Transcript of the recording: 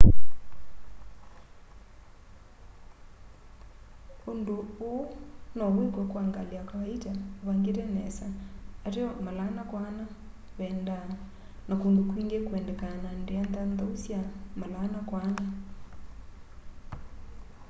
undu uu nowikwe kwa ngali ya kawaita uvangite nesa ateo 4x4 vendaa na kundu kwingi kuendeka na ndia nthanthau sya 4x4